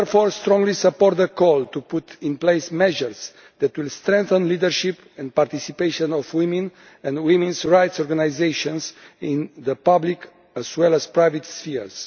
I therefore strongly support the call to put in place measures that will strengthen the leadership and participation of women and women's rights organisations in both the public and private spheres.